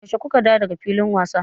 Yaushe ku ka dawo da ga filin wasa?